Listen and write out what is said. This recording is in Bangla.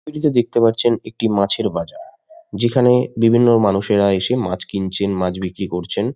ছবিতেতে দেখতে পারছেন একটি মাছের বাজার। যেখানে বিভিন্ন মানুষেরা এসে মাছ কিনছেন মাছ বিক্রি করছেন।